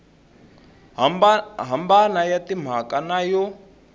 hambana ya timhaka na yo